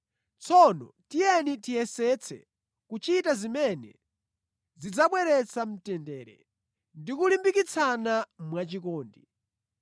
Tsono tiyeni tiyesetse kuchita zimene zidzabweretsa mtendere ndi kulimbikitsana mwachikondi.